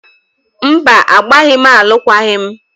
Mba, agbaghị m alụkwaghị m